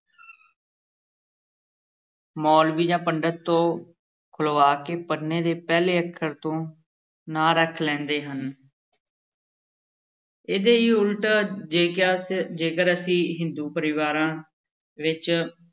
ਮੌਲਵੀ ਜਾਂ ਪੰਡਤ ਤੋਂ ਖੁਲ੍ਹਵਾ ਕੇ ਪੰਨੇ ਦੇ ਪਹਿਲੇ ਅੱਖਰ ਤੋਂ ਨਾਂ ਰੱਖ ਲੈਂਦੇ ਹਨ ਇਹਦੇ ਹੀ ਉੱਲਟ ਜੇਕਸ ਜੇਕਰ ਅਸੀਂ ਹਿੰਦੂ ਪਰਿਵਾਰਾਂ ਵਿੱਚ